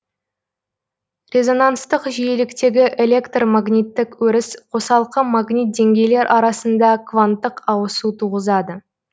резонанстық жиіліктегі электр магниттік өріс қосалқы магнит деңгейлер арасында кванттық ауысу туғызады